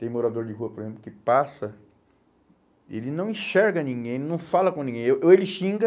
Tem morador de rua, por exemplo, que passa, ele não enxerga ninguém, não fala com ninguém, ou ou ele xinga,